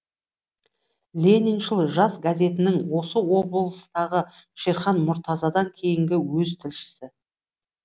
лениншіл жас газетінің осы облыстағы шерхан мұртазадан кейінгі өз тілшісі